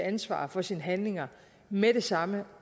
ansvar for sine handlinger med det samme